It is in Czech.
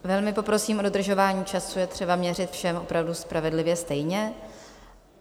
Velmi poprosím o dodržování času, je třeba měřit všem opravdu spravedlivě stejně.